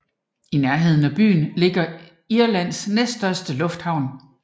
I nærheden af byen ligger Irlands næststørste lufthavn